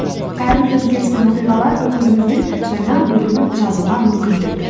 әрбір өзгеріс пен оқиғалар өміріміздің жаңа бөлімін жазуға мүмкіндік